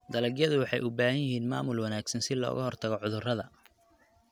Dalagyadu waxay u baahan yihiin maamul wanaagsan si looga hortago cudurrada.